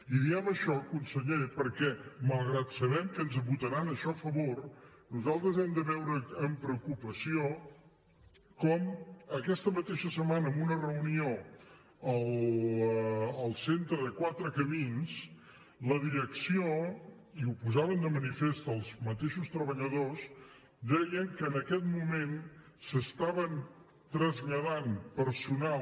i diem això conseller perquè malgrat que sabem que ens votaran això a favor nosaltres hem de veure amb preocupació com aquesta mateixa setmana en una reunió al centre de quatre camins la direcció i ho posaven de manifest els mateixos treballadors deia que en aquest moment s’estava traslladant personal